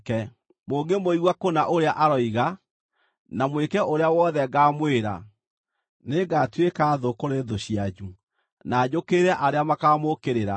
Mũngĩmũigua kũna ũrĩa aroiga, na mwĩke ũrĩa wothe ngaamwĩra, nĩngatuĩka thũ kũrĩ thũ cianyu, na njũkĩrĩre arĩa makaamũũkĩrĩra.